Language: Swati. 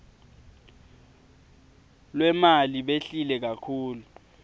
lwemali behlile kakhulu